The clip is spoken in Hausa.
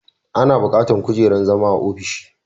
Ana bukatar kujerar zama a ofishi